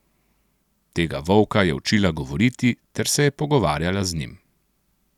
Tega volka je učila govoriti ter se je pogovarjala z njim.